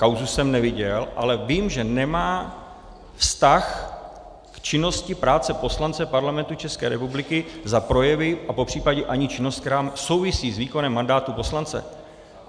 Kauzu jsem neviděl, ale vím, že nemá vztah k činnosti práce poslance Parlamentu České republiky za projevy a popřípadě ani činnost, která souvisí s výkonem mandátu poslance.